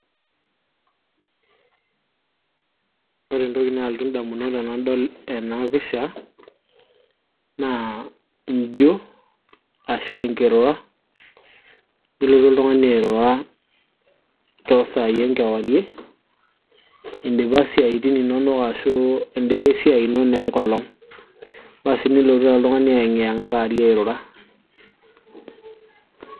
ore entoki naalotu indamunot tenadol ena pisha naa injio ashu enkirura nilotu oltung'ani airura toosai enkewarie indipa isiaitin inonok ashu indipa esiai ino naa enkolong basi nilotu taa oltung'ani ayeng'i yeng'a kaarie airura.